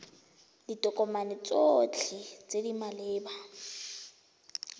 ditokomane tsotlhe tse di maleba